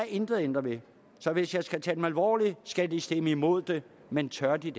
intet ændret ved så hvis jeg skal tage dem alvorligt skal de stemme imod men tør de